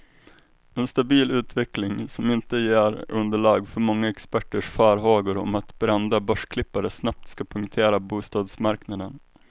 En stabil utveckling, som inte ger underlag för många experters farhågor om att brända börsklippare snabbt ska punktera bostadsmarknaden.